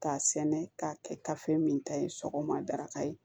K'a sɛnɛ k'a kɛ kafe min ta ye sɔgɔma dakayi